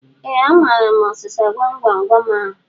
Ee, amaara m ọsịsa gwam gwam gwam ahu